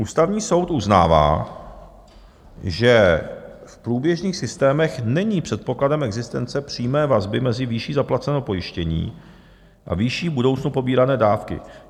Ústavní soud uznává, že v průběžných systémech není předpokladem existence přímé vazby mezi výší zaplaceného pojištění a výší v budoucnu pobírané dávky.